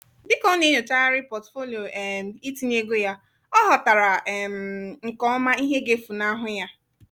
dịka ọ na-enyochagharị pọtufolio um itinye ego ya ọ ghọtara um nke ọma ihe ga-efunahu ya